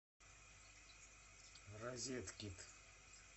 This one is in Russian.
розеткед